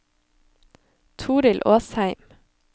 Torild Åsheim